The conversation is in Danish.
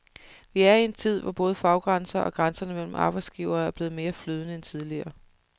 Vi er i en tid, hvor både faggrænser og grænserne mellem arbejdsgivere er mere flydende end tidligere.